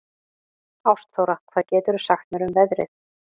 Ástþóra, hvað geturðu sagt mér um veðrið?